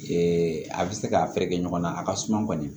Ee a bɛ se ka fɛɛrɛ kɛ ɲɔgɔn na a ka suma kɔni